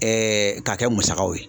k'a kɛ musakaw ye.